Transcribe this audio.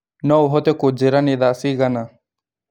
No ũhote kũjiĩra nĩ thaa cĩgana??